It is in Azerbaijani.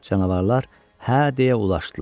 Canavarlar hə, deyə ulaşdılar.